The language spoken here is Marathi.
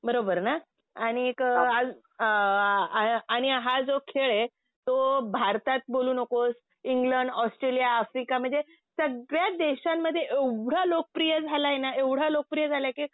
बरोबर ना. आणि एक आणि हा जो खेळ आहे तो भारतात बोलू नकोस इंग्लड, ऑस्ट्रेलिया, आफ्रिका म्हणजे सगळ्या देशांमध्ये एवढा लोकप्रिय झाला ना एवढा लोकप्रिय झाला कि